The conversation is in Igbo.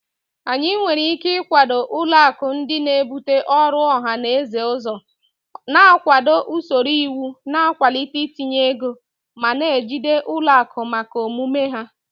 Anyị nwere ike ịkwado ụlọ akụ ndị na-ebute ọrụ ọha na eze ụzọ, na-akwado usoro iwu na-akwalite ntinye ego, ma na-ejide ụlọ akụ maka omume ha.